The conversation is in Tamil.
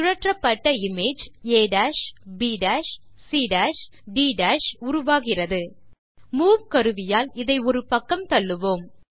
சுழற்றப்பட்ட image A B C D உருவாகிறது மூவ் கருவியால் இதை ஒரு பக்கம் தள்ளுவோம்